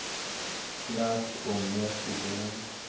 trust omgee toekenning